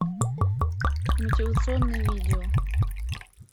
мотивационные видео